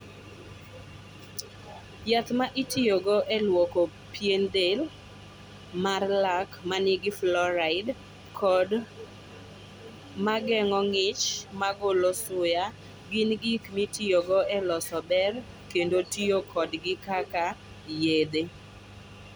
Yath ma itiyogo e lwoko pien del, mar lak ma nigi fluoride, kod ma geng'o ng'ich ma golo suya, gin gik mitiyogo e loso ber kendo tiyo kodgi kaka yedhe.